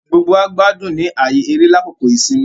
Gbogbo wá gbádùn ní ààyè eré lákòókò ìsinmi